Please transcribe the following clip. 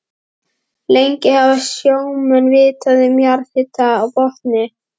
Lengi hafa sjómenn vitað um jarðhita á botni